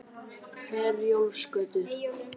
Herjólfsgötu